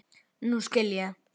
Nú skil ég.